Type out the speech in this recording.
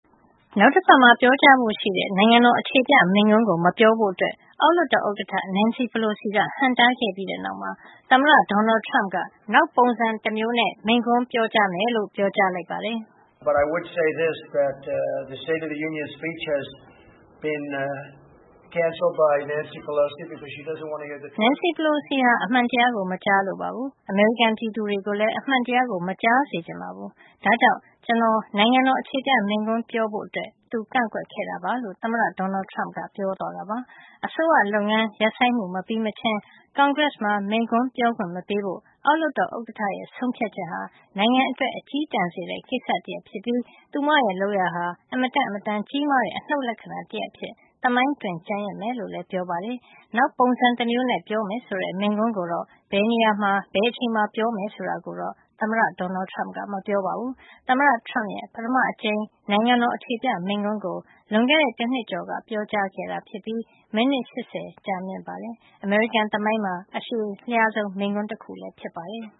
နောက်တပတ်မှာ ပြောကြားဖို့ ရှိတဲ့ နိုင်ငံတော် အခြေပြ မိန့်ခွန်းကို မပြောဖို့ အတွက် အောက်လွှတ်တော် ဥက္ကဌ နန်စီပလိုစီက ဟန့်တားခဲ့ပြီးတဲ့နောက်မှာ သမ္မတ Donald Trump က နောက်ပုံစံ တမျိုးနဲ့ မိန့်ခွန်း ပြောကြားမယ်လို့ ပြောကြားလိုက်ပါတယ်။ နန်စီပလိုစီဟာ အမှန်တရားကို မကြားလိုပါဘူး။ အမေရိကန် ပြည်သူတွေကိုလည်း အမှန်တရားကို မကြားစေချင်ပါဘူး။ ဒါကြောင့် ကျနော် နိုင်ငံတော် အခြေပြ မိန့်ခွန်း ပြောဖို့ အတွက် သူ ကန့်ကွက်ခဲ့တာပါလို့ သမ္မတ Donald Trump က ပြောသွားတာပါ။ အစိုးရလုပ်ငန်း ရပ်ဆိုင်းမှု မပြီးမချင်း ကွန်ဂရက်မှာ မိန့်ခွန်း ပြောခွင့် မပေးဖို့ အောက်လွှတ်တော် ဥက္ကဌရဲ့ ဆုံးဖြတ်ချက်ဟာ နိုင်ငံအတွက် အက ျည်းတန်စေတဲ့ ကိစ္စတရပ် ဖြစ်ပြီး သူမရဲ့ လုပ်ရပ်ဟာ အင်မတန့် အင်မတန် ကြီးမားတဲ့ အနုတ် လက္ခဏာ တရပ် အဖြစ် သမိုင်းတွင် ကျန်ရစ်မယ်လို့လည်း ပြောပါတယ်။ နောက်ပုံစံ တမျိုးနဲ့ ပြောမယ်ဆိုတဲ့ မိန့်ခွန်းကိုတော့ ဘယ်နေရာမှာ ဘယ်အချိန်မှာ ပြောမယ်ဆိုတာကိုတော့ သမ္မတ Donald Trump က မပြောပါဘူး။ သမ္မတ Trump ရဲ့ ပထမ အကြိမ် နိုင်ငံတော် အခြေပြ မိန့်ခွန်းကို လွန်ခဲ့တဲ့ တနှစ်ကျော်က ပြောကြားခဲ့တာ ဖြစ်ပြီး မိနစ် ၈၀ ကြာမြင့်ပါတယ်။ အမေရိကန် သမိုင်းမှာ အရှည်လျားဆုံး မိန့်ခွန်း တခုလည်း ဖြစ်ပါတယ်။